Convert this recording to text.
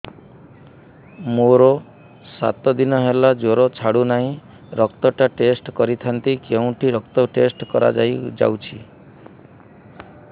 ମୋରୋ ସାତ ଦିନ ହେଲା ଜ୍ଵର ଛାଡୁନାହିଁ ରକ୍ତ ଟା ଟେଷ୍ଟ କରିଥାନ୍ତି କେଉଁଠି ରକ୍ତ ଟେଷ୍ଟ କରା ଯାଉଛି